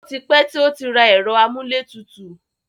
O ti pẹ́ tí ó rà ẹ̀rọ amúlétutù.